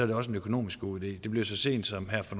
det også en økonomisk god idé det blev så sent som her for